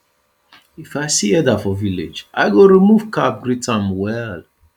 if i see elder for village i go remove cap greet am well